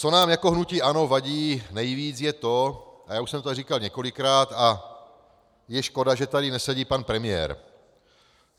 Co nám jako hnutí ANO vadí nejvíc, je to - a já už jsem to tady říkal několikrát a je škoda, že tady nesedí pan premiér.